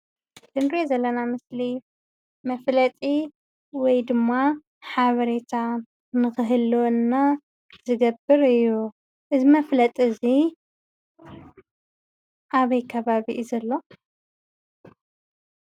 እዚ እንሪኦ ዘለና ምስሊ መፍለጢ ወይ ድማ ሓበሬታ ንኽህልወና ዝገብር እዩ። እዚ መፍለጢ እዚ ኣበይ ከባቢ እዩ ዘሎ?